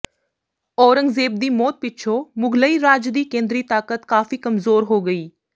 ਔਰੰਗਜ਼ੇਬ ਦੀ ਮੌਤ ਪਿੱਛੋਂ ਮੁਗ਼ਲਈ ਰਾਜ ਦੀ ਕੇਂਦਰੀ ਤਾਕਤ ਕਾਫੀ ਕਮਜ਼ੋਰ ਹੋ ਗਈ